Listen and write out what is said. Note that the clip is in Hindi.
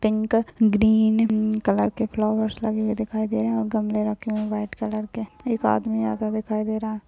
पिंक ग्रीन कलर के फ्लॉवर्स लगे हुए दिखाई दे रहे है और गमले रखे हुए है व्हाइट कलर के एक आदमी आता दिखाई दे रहा।